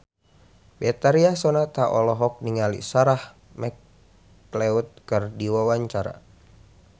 Betharia Sonata olohok ningali Sarah McLeod keur diwawancara